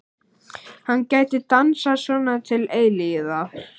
Hann gæti dansað svona til eilífðar.